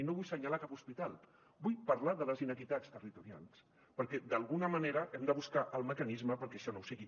i no vull assenyalar cap hospital vull parlar de les inequitats territorials perquè d’alguna manera hem de buscar el mecanisme perquè això no ho sigui